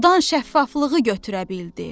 Sudan şəffaflığı götürə bildi.